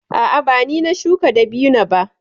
A'a, ba ni na shuka dabino ba.